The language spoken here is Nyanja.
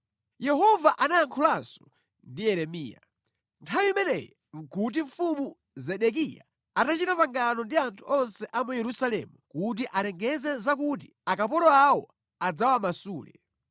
Yehova anayankhulanso ndi Yeremiya. Nthawi imeneyi nʼkuti mfumu Zedekiya atachita pangano ndi anthu onse a mu Yerusalemu kuti alengeze zakuti akapolo awo adzawamasule.